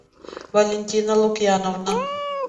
валентина лукьяновна